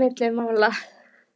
milli mála.